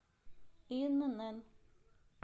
инн